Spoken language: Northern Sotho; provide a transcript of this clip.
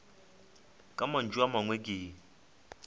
ka mantšu a mangwe ke